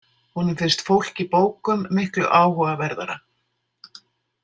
Honum finnst fólk í bókum miklu áhugaverðara.